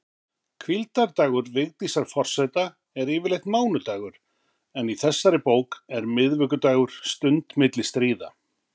Hvíldardagur Vigdísar forseta er yfirleitt mánudagur, en í þessari bók er miðvikudagur stund milli stríða.